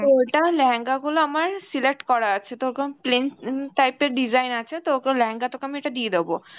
তো ওটা লেহেঙ্গা গুলো আমার select করা আছে plain উম type এর design আছে, তো ওকে লেহেঙ্গা তোকে আমি একটা দিয়ে দেব